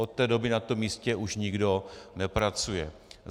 Od té doby na tom místě už nikdo nepracuje.